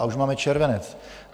A už máme červenec!